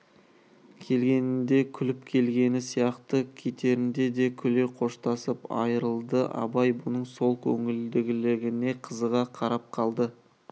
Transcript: келгенінде күліп келгені сияқты кетерінде де күле қоштасып айрылды абай бұның сол көңілділігіне қызыға қарап қалды